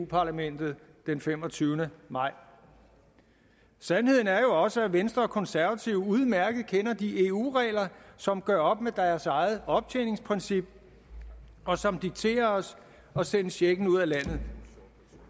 parlamentet den femogtyvende maj sandheden er jo også at venstre og konservative udmærket kender de eu regler som gør op med deres eget optjeningsprincip og som dikterer os at sende checken ud af landet